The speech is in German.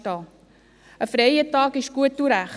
Ein freier Tag ist gut und recht.